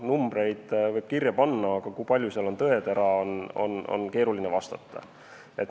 Numbreid võib kirja panna, aga kui palju seal on tõetera, sellele on keeruline vastata.